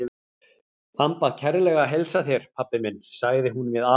Hann bað kærlega að heilsa þér, pabbi minn, sagði hún við afa.